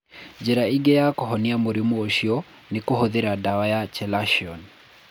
Njĩra ĩngĩ ya kũhonania mũrimũ ũcio nĩ kũhũthĩra ndawa ya chelation.